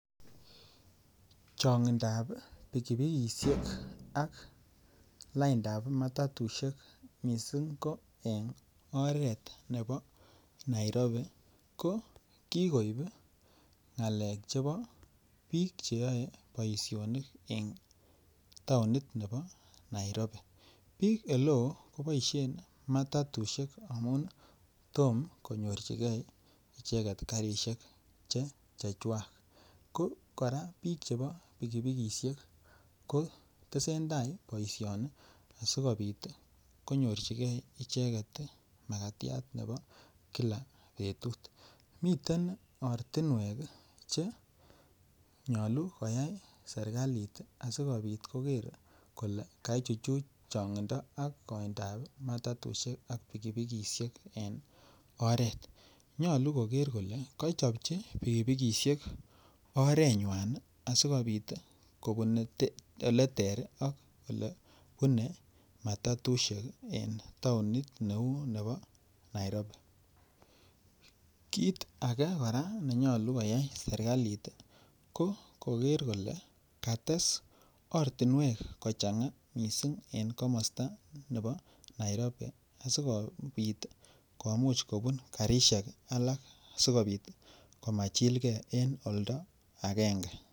Changindab pikipikisiek ak ak laindap matutisiek mising ko en oret nebo Nairobi ko ki koib ngalek chebo bik Che yoe boisionik en taonit nebo Nairobi bik oleo ko boisien matuti amun Tom konyorchigei icheget karisiek chechwak ko kora bik chebo pikipikisiek ko tesentai boisioni asikobit ko nyorchigei icheget makatiat nebo kila betut miten ortinwek Che nyolu koyai serkalit asikobit koger kole kaichuch changindo ak kaindo ab matatusiek ak pikipikisiek en oret nyolu kogeer kole kochobchi pikipikisiek orenywan asi kobit kobune oleter ak olebune matatusiek en taonit neu nebo Nairobi kit ake kora nyolu koyai serkalit ko koger kole kates ortinwek kochanga mising en komosta nebo Nairobi asikobit komuch kobun karisiek alak asi kobit komachilgei en oldo agenge